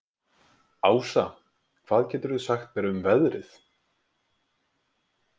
Ása, hvað geturðu sagt mér um veðrið?